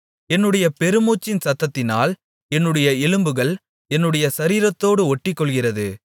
என்னுடைய பெருமூச்சின் சத்தத்தினால் என்னுடைய எலும்புகள் என்னுடைய சரீரத்தோடு ஒட்டிக்கொள்ளுகிறது